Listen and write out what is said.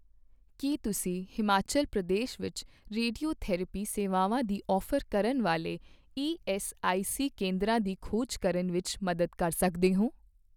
ਕੀ ਤੁਸੀਂ ਹਿਮਾਚਲ ਪ੍ਰਦੇਸ਼ ਵਿੱਚ ਰੇਡੀਓਥੈਰੇਪੀ ਸੇਵਾਵਾਂ ਦੀ ਔਫ਼ਰ ਕਰਨ ਵਾਲੇ ਈਐੱਸਆਈਸੀ ਕੇਂਦਰਾਂ ਦੀ ਖੋਜ ਕਰਨ ਵਿੱਚ ਮਦਦ ਕਰ ਸਕਦੇ ਹੋ